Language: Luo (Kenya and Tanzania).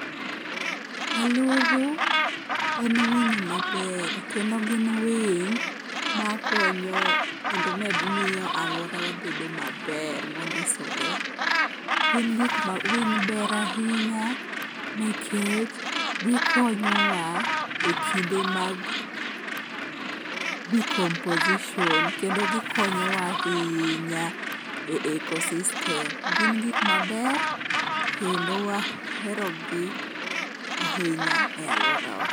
Aluru en winyo maber kendo gin winy makonyo kendo miyo alworawa bedo maber mondisore. Winy ber ahinya nikech gikonyowa e kinde mag decomposition kendo gikonyowa ahinya e eco-system. Gin gik maber kendo waherogi ahinya e alworawa.